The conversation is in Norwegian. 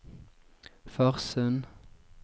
Farsund